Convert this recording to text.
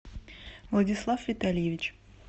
владислав витальевич